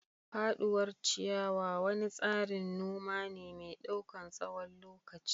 Faduwar ciyawa wani tsarin noma ne mai ɗaukan tsawon lokaci.